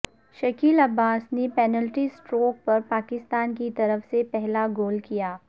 شکیل عباسی نے penalty stroke پر پاکستان کی طرف سے پہلا گول کیا